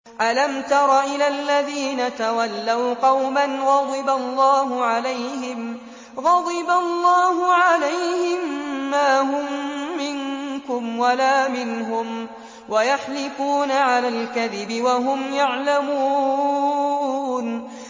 ۞ أَلَمْ تَرَ إِلَى الَّذِينَ تَوَلَّوْا قَوْمًا غَضِبَ اللَّهُ عَلَيْهِم مَّا هُم مِّنكُمْ وَلَا مِنْهُمْ وَيَحْلِفُونَ عَلَى الْكَذِبِ وَهُمْ يَعْلَمُونَ